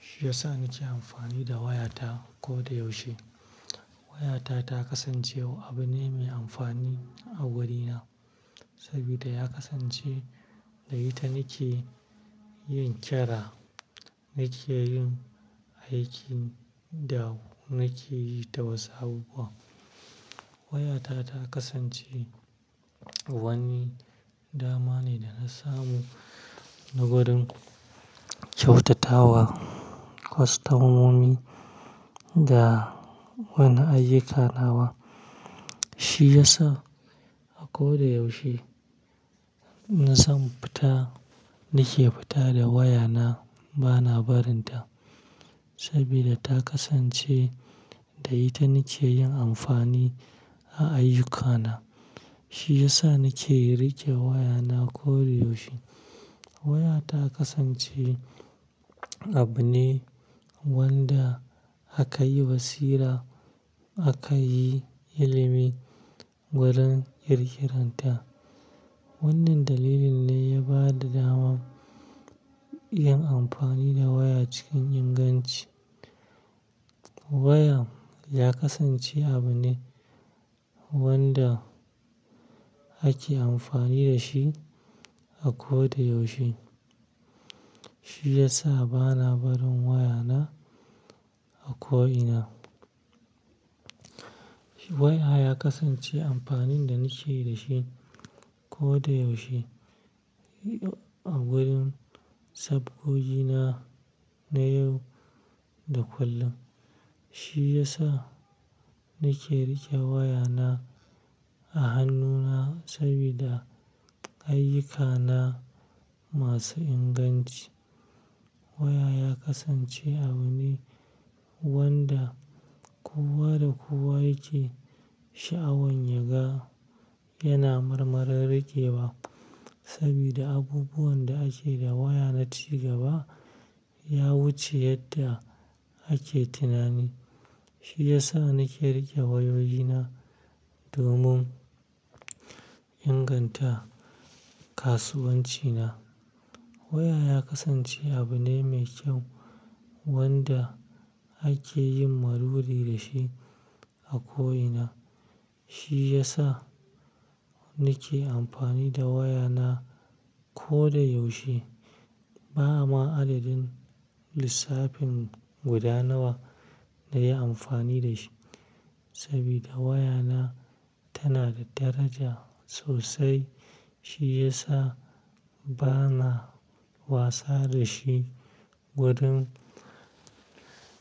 Shi yasa nake amfani da wayata koda yaushe. Wayata ta kasance abu ne mai amfani a wurina, saboda ya kasance da ita nake yin kira, nake yin aiki da nake yi ta wasapu. Wayata ta kasance wani dama ne da na samu na wurin kyautatawa, customomi da wani ayyukana. Shi yasa a koda yaushe na son fita nake fita da wayana bana barinta, saboda ta kasance da ita nake yin amfani a ayyukana. Shi yasa nake riƙe wayana koda yaushe. Wayata kasance abu ne wanda aka yi basira aka yi ilimi wurin ƙirƙiranta. Wannan dalilin ne ya ba da daman yin amfani da waya cikin inganci. Waya ya kasance abu ne wanda ake amfani da shi a koda yaushe. Shi yasa bana barin wayana a ko ina. Waya ya kasance amfanin da nake da shi koda yaushe a wurin sabgogina na yau da kullum. Shi yasa nake riƙe wayana a hannuna saboda ayyukana masu inganci. Waya ya kasance abu ne wanda kowa da kowa yake sha'awan yaga yana marmarin riƙewa. Saboda abubuwan da ake da waya na ci gaba ya wuce yadda ake tunani. Shi yasa nake riƙe wayoyi na domin inganta kasuwancina. Waya ya kasance abu ne mai kyau wanda ake yin maruri da shi a ko ina. Shi yasa nake amfani da wayana koda yaushe. Ba ma adadin lissafin gudanawa da yi amfani da shi saboda wayana tana da daraja sosai. Shi yasa bana wasa da shi wurin